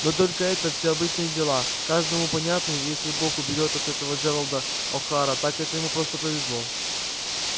но только это все обычные дела каждому понятные и если бог уберёг от такого джералда охара так это ему просто повезло